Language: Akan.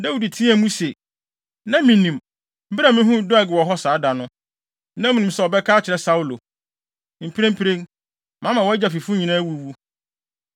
Dawid teɛɛ mu se, “Na minim! Bere a mihuu Doeg wɔ hɔ saa da no, na minim sɛ ɔbɛka akyerɛ Saulo. Mprempren, mama wʼagya fifo nyinaa awuwu.